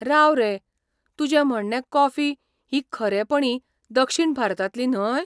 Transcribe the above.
राव रे! तुजें म्हणणें कॉफी ही खरेपणी दक्षिण भारतांतली न्हय?